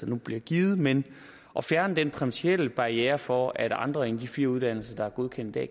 nu bliver givet men at fjerne den principielle barriere for at andre end de fire uddannelser der er godkendt i